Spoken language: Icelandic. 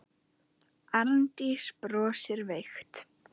Arndís brosir veikt.